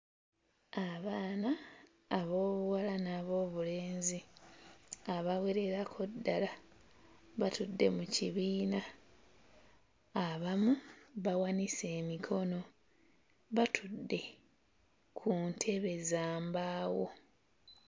Abaana ab'obuwala n'ab'obulenzi abawererako ddala batudde mu kibiina abamu bawanise emikono batudde ku ntebe za mbaawo.